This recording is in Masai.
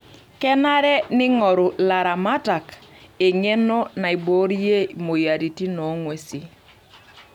Kenare neingoru laramatak eng'eno naiboorie moyiaritin oo ng'wesi.